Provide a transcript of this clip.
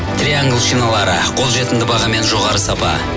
триангл шиналары қол жетімді баға мен жоғары сапа